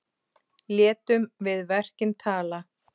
Létum við verkin tala.